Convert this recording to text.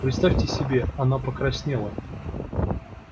представьте себе она покраснела